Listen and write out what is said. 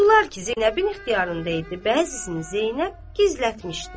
O pullar ki Zeynəbin ixtiyarında idi, bəzisini Zeynəb gizlətmişdi.